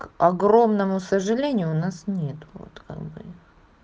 к огромному сожалению у нас нет вот как бы